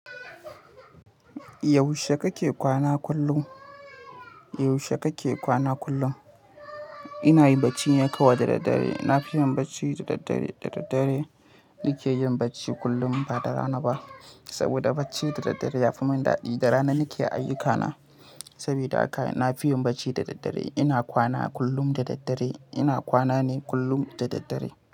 Yaushe kake kwana kullum? Yaushe kake kwana kullum? Ina yin bacci kawai da daddare. Na fi yin bacci da daddare. Da daddare nike yin bacci kullum ba da rana ba. Saboda bacci da daddare ya fi mun dadi. Da rana nike ayyukana. Saboda haka nafi yin bacci da daddare. Ina kwana kullum da daddare. Ina kwana ne kullum da daddare.